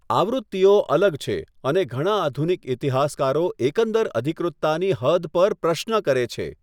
આવૃત્તિઓ અલગ છે, અને ઘણા આધુનિક ઇતિહાસકારો એકંદર અધિકૃતતાની હદ પર પ્રશ્ન કરે છે.